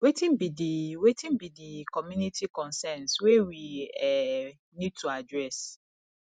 wetin be di wetin be di community concerns wey we um need to address